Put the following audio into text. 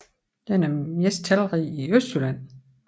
Den er mest talrig i Østjylland